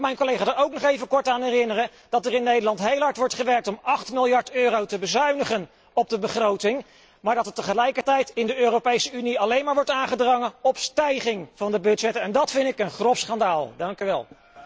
Mag ik mijn collega er ook nog even kort aan herinneren dat er in Nederland heel hard wordt gewerkt om acht miljard euro te bezuinigen op de begroting, maar dat er tegelijkertijd in de Europese Unie alleen maar wordt aangedrongen op stijging van de budgetten en dat vind ik een grof schandaal. Dank u wel.